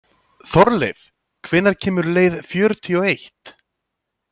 Þorleif, hvenær kemur leið fjörutíu og eitt?